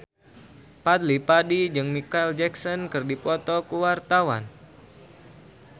Fadly Padi jeung Micheal Jackson keur dipoto ku wartawan